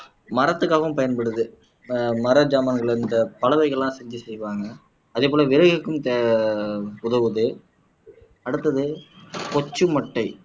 மரத்துக்காகவும் பயன்படுது ஆஹ் மர ஜாமான்கள் இந்த பலகைகள் எல்லாம் செஞ்சு செய்வாங்க அதே போல விறகுக்கும் தே உதவுது அடுத்தது கொச்சி மட்டை